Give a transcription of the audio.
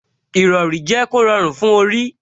Ìrọrí jẹ́ kó rọrùn fún orí